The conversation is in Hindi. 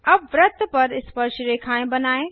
अब वृत्त पर स्पर्शरेखाएँ बनाएँ